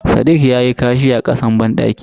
Sadiq yayi kashi a kasan bandaki.